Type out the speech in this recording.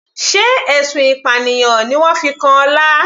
Sé ẹ̀sùn ìpànìyàn ni wọ́n fi kan Ọlá.